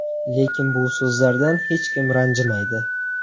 Lekin bu so‘zlardan hech kim ranjimaydi.